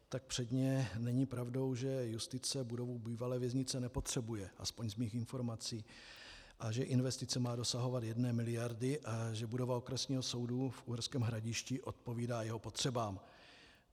Tak předně není pravdou, že justice budovu bývalé věznice nepotřebuje, aspoň z mých informací, a že investice má dosahovat jedné miliardy a že budova Okresního soudu v Uherském Hradišti odpovídá jeho potřebám.